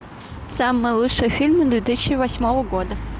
самые лучшие фильмы две тысячи восьмого года